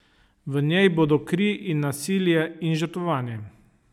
V njej bodo kri in nasilje in žrtvovanje.